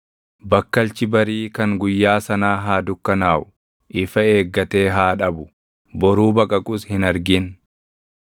Bakkalchi barii kan guyyaa sanaa haa dukkanaaʼu; ifa eeggatee haa dhabu; boruu baqaqus hin argin.